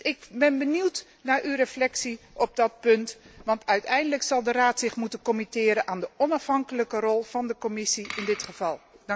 Ik ben dus benieuwd naar uw reflectie op dat punt, want uiteindelijk zal de Raad zich moeten voegen naar de onafhankelijke rol van de Commissie in dit geval.